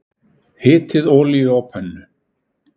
Hitið olíu á pönnu.